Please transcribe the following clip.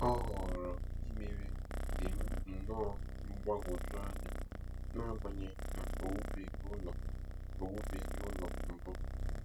Ọ họọrọ imewe dị nnọọ mgbagwoju anya, n'agbanyeghị na o wubeghị ụlọ o wubeghị ụlọ mbụ.